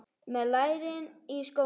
Með lærin í skónum.